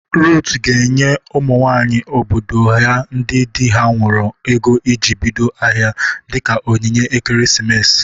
Ruth ga-enye ụmụ nwaanyị obodo ya ndị dị ha nwuru ego iji bido ahịa. dịka onyinye ekeresimesi.